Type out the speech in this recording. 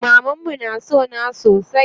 Mamanmu na sona sosai.